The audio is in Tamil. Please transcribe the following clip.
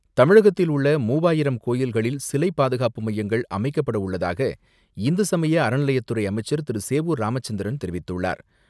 தமிழகத்தில் உள்ள மூவாயிரம் கோயில்களில் சிலை பாதுகாப்பு மையங்கள் அமைக்கப்படவுள்ளதாக இந்து சமய அறநிலையத்துறை அமைச்சர் திரு. சேவூர் ராமச்சந்திரன் தெரிவித்துள்ளார்.